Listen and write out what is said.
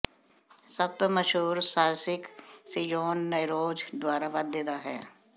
ਸਭ ਤੋਂ ਮਸ਼ਹੂਰ ਸਾਹਿਸਕ ਸੀਯੋਨ ਨੈਰੋਜ਼ ਦੁਆਰਾ ਵਾਧੇ ਦਾ ਹੈ